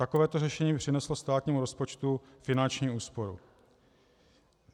Takovéto řešení by přineslo státnímu rozpočtu finanční úsporu.